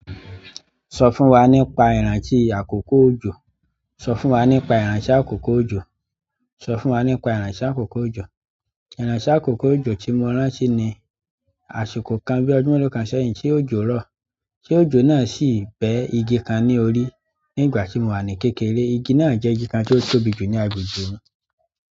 Sọ fún wa nípa ìrántí àkókò òjò. Sọ fún wa nípa ìranse àkókò òjò. Sọ fún wa nípa ìrántí àkókò òjò. Iranse àkókò òjò tí mo ń rántí ní àsìkò kan bí ọdún kan sẹ́yìn tí òjò rọ̀ ti òjò sì be igi kan ní orí. Nígbà tí mo wà ní kékeré, igi náà jẹ́ igi kan tí ó tóbi jù ní agbègbè mi.